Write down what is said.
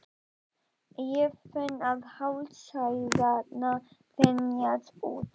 Ég finn að hálsæðarnar þenjast út.